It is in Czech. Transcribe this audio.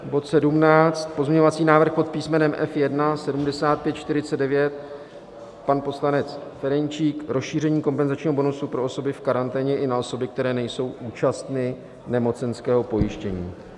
Bod 17, pozměňovací návrh pod písmenem F1 - 7549, pan poslanec Ferjenčík, rozšíření kompenzačního bonusu pro osoby v karanténě i na osoby, které nejsou účastny nemocenského pojištění.